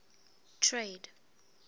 trade